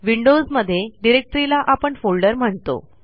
Windows मध्ये डिरेक्टरीला आपण फोल्डर म्हणतो